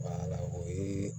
o ye